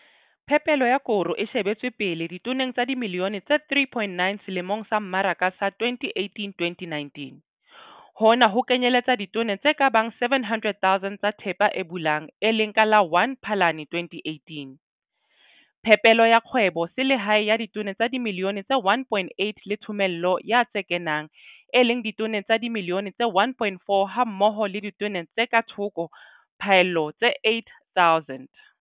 Phepelo ya koro e shebetswe pele ditoneng tsa dimilione tse 3,9 selemong sa mmaraka sa 2018 2019, hona ho kenyeletsa ditone tse ka bang 700000 tsa thepa e bulang, e leng ka la 1 Phalane 2018, phepelo ya kgwebo selehae ya ditone tsa dimilione tse 1,8 le thomello ya tse kenang, e leng ditone tsa dimilione tse 1,4 hammoho le ditone tse ka thoko phaello tse 8000.